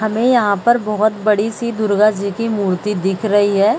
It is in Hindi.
हमें यहाँ पर बहोत बड़ी सी दुर्गा जी की मूर्ति दिख रही है।